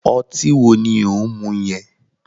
Ọtí wo ni òun mú yẹn?